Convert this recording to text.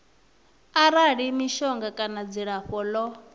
arali mishonga kana dzilafho ḽo